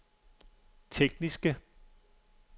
tekniske